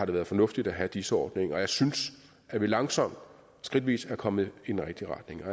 det fornuftigt at have dis ordningen og jeg synes at vi langsomt skridtvis er kommet i den rigtige retning